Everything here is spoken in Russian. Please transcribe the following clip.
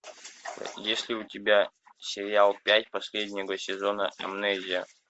есть ли у тебя сериал пять последнего сезона амнезия